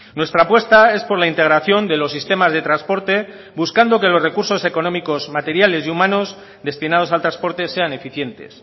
nuestra apuesta es por la integración de los sistemas de transporte buscando que los recursos económicos materiales y humanos destinados al transporte sean eficientes